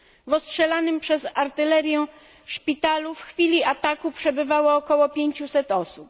W ostrzelanym przez artylerię szpitalu w chwili ataku przebywało około 500 osób.